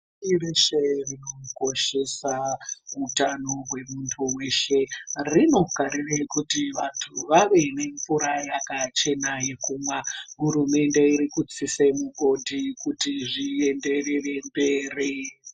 Pashi reshe rinokoshesa utano hwemuntu weshe. Rinokarire kuti vantu vave nemvura yakachena yekumwa. Hurumende irikutsise migodhi kuti zvienderere mberi.